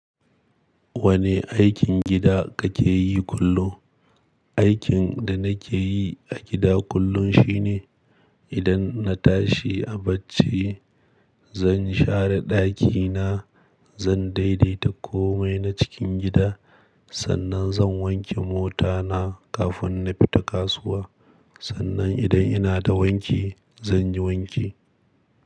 Wane aikin gida kake yi kullum? Aikin da nake yi a gida kullum shi ne idan na tashi a barci zan share ɗakina, zan daidaita komai na cikin gida. Sannan zan wanke mota na kafin na fita kasuwa. Sannan idan ina da wanki zan yi wanki.